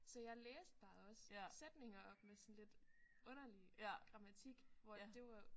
Så jeg læste bare også sætninger op med sådan lidt underlig grammatik hvor det var